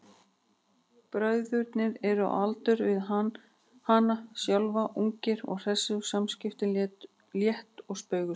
Bræðurnir eru á aldur við hana sjálfa, ungir og hressir og samskiptin létt og spaugsöm.